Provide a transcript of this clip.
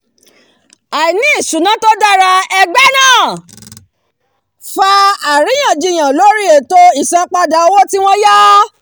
àìní ìṣúná tó dára ẹgbẹ́ náà fa àríyànjiyàn lórí ètò isanpada owó tí wọ́n yá